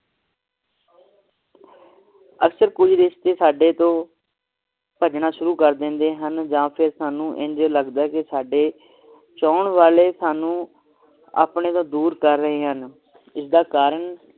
ਅਕਸਰ ਕੁਜ ਰਿਸ਼ਤੇ ਸਾਡੇ ਤੋਂ ਭਜਨ ਸ਼ੁਰੂ ਕਰ ਦਿੰਦੇ ਹਨ ਜਾ ਫੇਰ ਸਾਨੂ ਇੱਦਾਂ ਲਗਦਾ ਹੈ ਕਿ ਸਾਡੇ ਚਾਹੁਣ ਵਾਲੇ ਸਾਨੂ ਆਪਣੇ ਤੋਂ ਦੂਰ ਕਰ ਰਹੇ ਹਨ ਇਸ ਦਾ ਕਾਰਨ